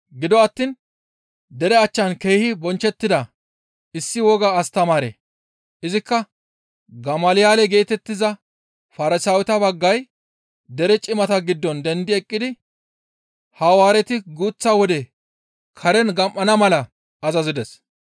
Gido attiin dere achchan keehi bonchchettida issi woga astamaare, izikka Gamalyaale geetettiza Farsaaweta baggay dere cimata giddon dendi eqqidi Hawaareti guuththa wode karen gam7ana mala azazides.